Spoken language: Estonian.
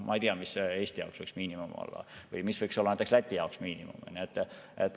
Ma ei tea, mis võiks Eesti jaoks miinimum olla või mis võiks näiteks Läti jaoks miinimum olla.